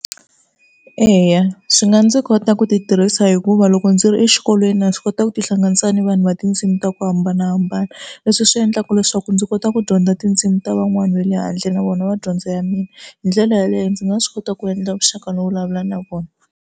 Eya swi nga ndzi kota ku ti tirhisa hikuva loko ndzi ri exikolweni na swi kota ku tihlanganisa na vanhu va tindzimi ta ku hambanahambana. Leswi swi endlaka leswaku ndzi kota ku dyondza tindzimi ta van'wani va le handle na vona va dyondzo ya mina hi ndlela yaleyo ndzi nga swi kota ku endla vuxaka no vulavula na vona.